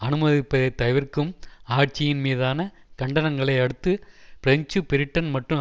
அனுமதிப்பதை தவிர்க்கும் ஆட்சியின் மீதான கண்டனங்களை அடுத்து பிரெஞ்சு பிரிட்டன் மற்றும்